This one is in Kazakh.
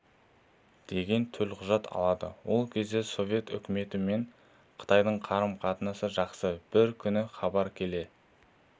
деген төлқұжат алады ол кезде совет үкіметі мен қытайдың қарым-қатынасы жақсы бір күні хабар келе